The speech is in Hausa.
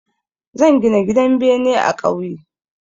Zan gina gidan bene a ƙauye.